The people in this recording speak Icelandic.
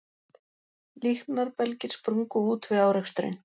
Líknarbelgir sprungu út við áreksturinn